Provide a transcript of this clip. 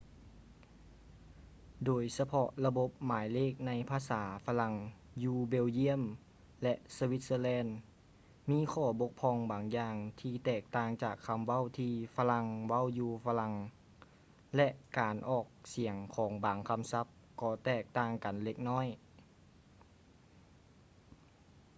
ໂດຍສະເພາະລະບົບໝາຍເລກໃນພາສາຝຣັ່ງຢູ່ belgium ແລະ switzerland ມີຂໍ້ບົກຜ່ອງບາງຢ່າງທີ່ແຕກຕ່າງຈາກຄຳເວົ້າທີ່ຝຣັ່ງເວົ້າຢູ່ຝຣັ່ງ ແລະ ການອອກສຽງຂອງບາງຄຳສັບກໍແຕກຕ່າງກັນເລັກນ້ອຍ